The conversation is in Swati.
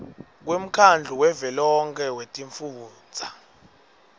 kwemkhandlu wavelonkhe wetifundza